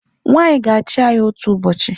Nwaanyị ga-achị anyị otu ụbọchị.